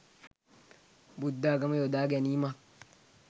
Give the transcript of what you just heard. බුද්ධාගම යොදා ගැනීමක්.